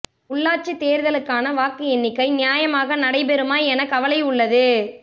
உள்ளாட்சித் தேர்தலுக்கான வாக்கு எண்ணிக்கை நியாயமாக நடைபெறுமா என கவலை உள்ளது